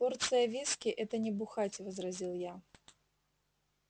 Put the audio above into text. порция виски это не бухать возразил я